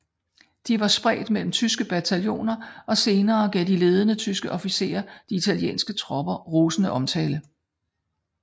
De var spredt mellem tyske bataljoner og senere gav de ledende tyske officerer de italienske tropper rosende omtale